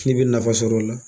K'i bɛ nafa sɔrɔ o la.